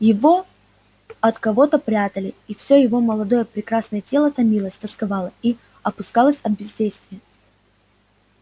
его от кого-то прятали и всё его молодое прекрасное тело томилось тосковало и опускалось от бездействия